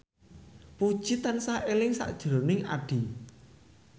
Puji tansah eling sakjroning Addie